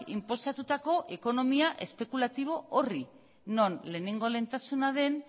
inposatutako ekonomia espekulatibo horri non lehenengo lehentasuna den